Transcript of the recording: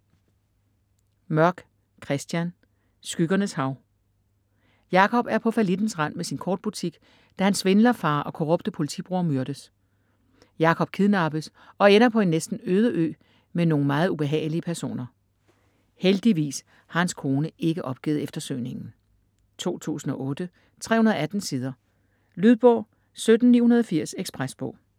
Mørk, Christian: Skyggernes hav Jacob er på fallittens rand med sin kort-butik, da hans svindler-far og korrupte politibror myrdes. Jacob kidnappes og ender på en næsten øde ø med nogle meget ubehagelige personer. Heldigvis har hans kone ikke opgivet eftersøgningen.... 2008, 318 sider. Lydbog 17980 Ekspresbog